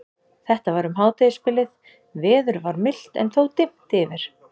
Þetta var um hádegisbilið, veður var milt en þó dimmt yfir.